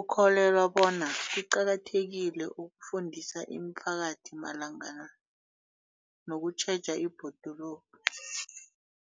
ukholelwa bona kuqakathekile ukufundisa imiphakathi malungana nokutjheja ibhoduluko.